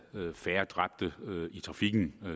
færre dræbte i trafikken